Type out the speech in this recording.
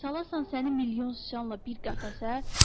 Salarsan səni milyon siçanla bir qəfəsə,